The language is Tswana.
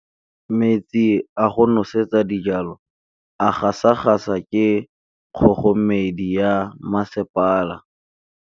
Metsi a go nosetsa dijalo a gasa gasa ke kgogomedi ya masepala.